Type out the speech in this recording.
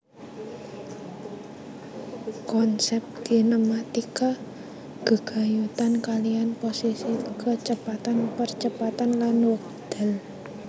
Konsep kinematika gegayutan kaliyan posisi kecepatan percepatan lan wekdal